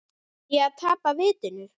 Er ég að tapa vitinu?